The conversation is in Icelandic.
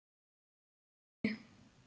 Þeir gætu.